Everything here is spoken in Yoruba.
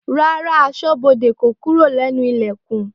Rárá aṣọ́bodè kò kúrò lẹ́nu Ìlẹ̀kùn